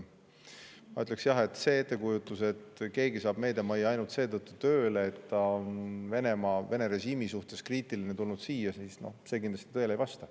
Ma ütleksin, et see ettekujutus, et keegi saab meediamajja ainult seetõttu tööle, et ta on Venemaa, Vene režiimi suhtes kriitiline ja tulnud siia, kindlasti tõele ei vasta.